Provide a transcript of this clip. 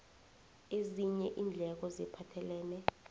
ezinye iindleko eziphathelene